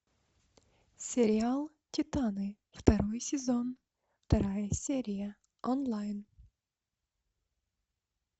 сериал титаны второй сезон вторая серия онлайн